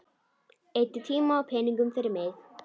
Eyddi tíma og peningum fyrir mig.